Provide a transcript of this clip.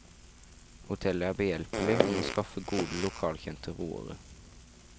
Hotellet er behjelpelig med å skaffe gode lokalkjente roere.